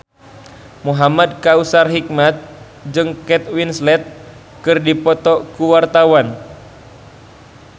Muhamad Kautsar Hikmat jeung Kate Winslet keur dipoto ku wartawan